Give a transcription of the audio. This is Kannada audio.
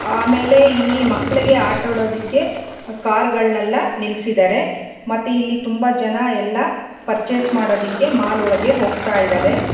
ಆಮೇಲೆ ಇಲ್ಲಿ ಮಕ್ಕಳಿಗೆ ಆಟ ಆಡೋದಿಕ್ಕೆ ಕಾರು ಗಳ್ನೆಲ್ಲ ನಿಲ್ಲಿಸಿದಾರೆ ಮತ್ತೆ ಇಲ್ಲಿ ತುಂಬಾ ಜನ ಎಲ್ಲಾ ಪರ್ಚೇಸ್ ಮಾಡೋದಕ್ಕೆ ಮಾಲ್ ಒಳಗೆ ಹೋಗ್ತಾ ಇದ್ದಾರೆ.